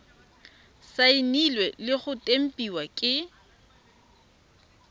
saenilwe le go tempiwa ke